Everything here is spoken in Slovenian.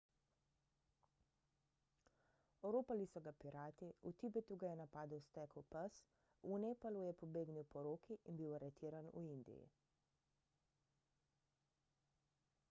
oropali so ga pirati v tibetu ga je napadel stekel pes v nepalu je pobegnil poroki in bil aretiran v indiji